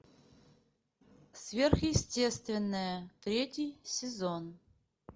сверхъестественное третий сезон